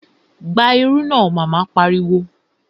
Gba irú náà! Mama pariwo